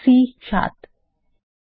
এখন enter key টিপুন